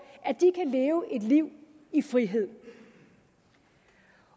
at de kan leve et liv i frihed